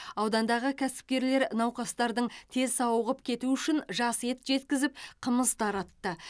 аудандағы кәсіпкерлер науқастардың тез сауығып кетуі үшін жас ет жеткізіп қымыз таратты